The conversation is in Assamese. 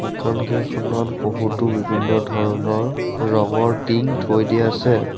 দোকান কেইখনত বহুতো বিভিন্ন ধৰণৰ ৰঙৰ টিং থৈ দিয়া আছে।